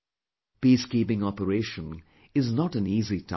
Peacekeeping operation is not an easy task